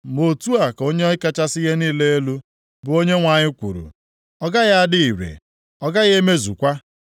Ma otu a ka Onye kachasị ihe niile elu, bụ Onyenwe anyị kwuru, “ ‘Ọ gaghị adị ire! Ọ gaghị emezukwa.